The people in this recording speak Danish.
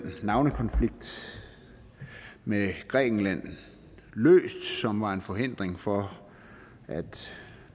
navnekonflikt med grækenland som var en forhindring for at det